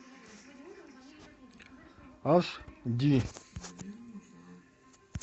аш ди